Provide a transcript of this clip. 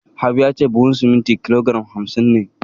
Habu ya ce buhun sumunti kilo giram hamsin ne